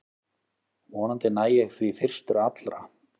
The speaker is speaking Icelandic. Vonandi næ ég því fyrstur allra